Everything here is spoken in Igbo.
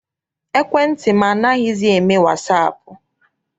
Ekwentị m anaghịzi eme wasaapụ.